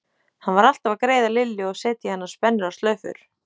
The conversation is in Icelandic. Hún var alltaf að greiða Lillu og setja í hana spennur og slaufur.